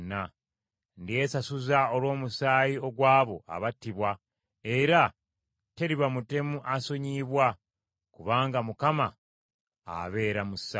Ndyesasuza olw’omusaayi ogw’abo abattibwa, era teriba mutemu asonyiyibwa. Kubanga Mukama abeera mu Sayuuni.”